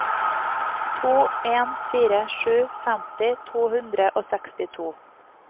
to en fire sju femti to hundre og sekstito